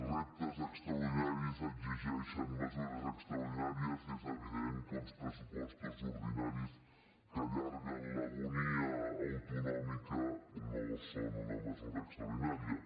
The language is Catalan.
reptes extraordinaris exigeixen mesures extraordinàries i és evident que uns pressu·postos ordinaris que allarguen l’agonia autonòmica no són una mesura extraordinària